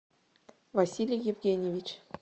василий евгеньевич